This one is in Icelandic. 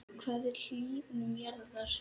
Hvað er hlýnun jarðar?